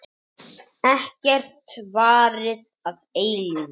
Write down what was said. Ekkert varir að eilífu.